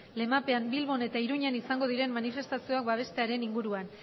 lemapean bilbon eta iruñan izango diren manifestazioak babestearen inguruan